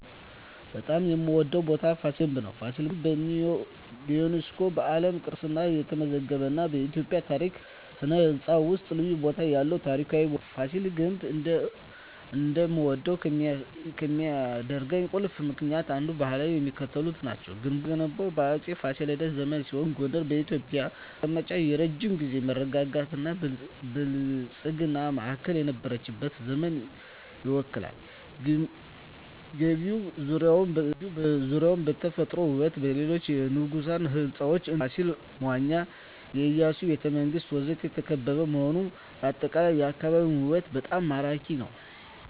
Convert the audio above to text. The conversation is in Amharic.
በጣም የምዎደው ቦታ ፋሲል ግንብ ነው። ፋሲል ግንብ በዩኔስኮ የዓለም ቅርስነት የተመዘገበ እና በኢትዮጵያ ታሪክ እና ሥነ ሕንፃ ውስጥ ልዩ ቦታ ያለው ታሪካዊ ቦታ ነው። ፋሲል ግንብ እንድወደው ከሚያደርኝ ቁልፍ ምክንያቶች እና ባህሪያት የሚከተሉት ናቸው። ግንቡ የተገነባው በአፄ ፋሲለደስ ዘመን ሲሆን ጎንደር የኢትዮጵያ መቀመጫ እና የረጅም ጊዜ መረጋጋትና ብልጽግና ማዕከል የነበረችበትን ዘመን ይወክላል። ግቢው ዙሪያውን በተፈጥሮ ውበትና በሌሎች የንጉሣዊ ሕንፃዎች (እንደ ፋሲል መዋኛ፣ የኢያሱ ቤተ መንግስት ወዘተ) የተከበበ በመሆኑ አጠቃላይ የአካባቢው ውበት በጣም ማራኪ ነው። …